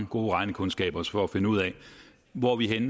gode regnekundskaber for at finde ud af hvor vi